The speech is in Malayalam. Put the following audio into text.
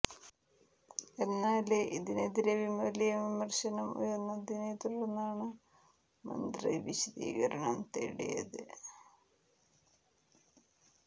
എന്നാല് ഇതിനെതിരെ വലിയ വിമര്ശനം ഉയര്ന്നതിനെ തുടര്ന്നാണ് മന്ത്രി വിശദീകരണം തേടിയത്